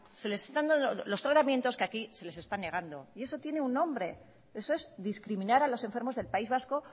se les están dando los tratamientos que aquí se les están negando y eso tiene un nombre eso es discriminar a los enfermos del país vasco